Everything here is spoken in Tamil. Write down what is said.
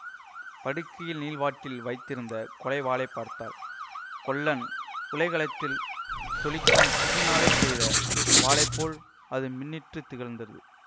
படுக்கையில் நீள்வாட்டில் வைத்திருந்த கொலை வாளை பார்த்தாள் கொல்லன் உலைக்களத்தில் ஜொலிக்கும் தீயினாலேயே செய்த வாளை போல் அது மின்னிட்டுத் திகழ்ந்தது